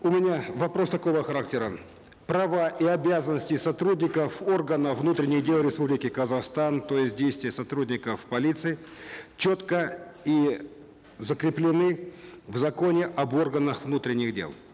у меня вопрос такого характера права и обязанности сотрудников органов внутренних дел республики казахстан то есть действия сотрудников полиции четко и закреплены в законе об органах внутренних дел